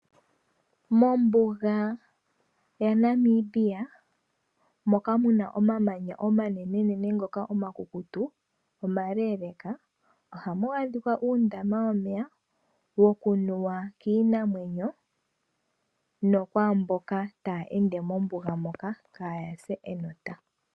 Mombuga ya Namibia moka muna omamanya omanenenene ngoka omakukutu omaleeleeka, ohamu adhikwa uundama womeya, wokunuwa kiinamwenyo, nokwaamboka taya ende mombuga moka kaaya se enota.